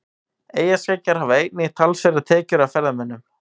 Eyjaskeggjar hafa einnig talsverðar tekjur af ferðamönnum.